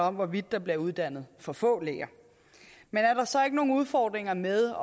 om hvorvidt der bliver uddannet for få læger men er der så ikke nogen udfordringer med